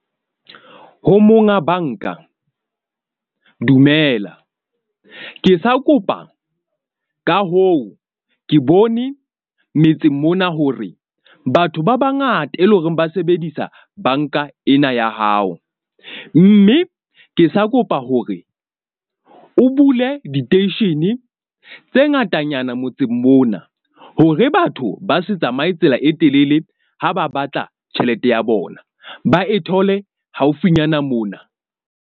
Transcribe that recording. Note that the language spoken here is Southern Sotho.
Ho monga banka, dumela, ke sa kopa, ka hoo ke bone metseng mona hore batho ba bangata, e leng hore ba sebedisa banka ena ya hao. Mme ke sa kopa hore o bule diteishene tse ngatanyana motseng mona. Hore batho ba se tsamaye tsela e telele, ha ba batla tjhelete ya bona, ba e thole haufinyana mona.